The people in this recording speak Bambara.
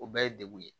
O bɛɛ ye degun ye